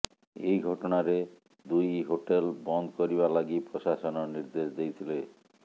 ଏହି ଘଟଣାରେ ଦୁଇ ହୋଟେଲ ବନ୍ଦ କରିବା ଲାଗି ପ୍ରଶାସନ ନିର୍ଦେଶ ଦେଇଥିଲେ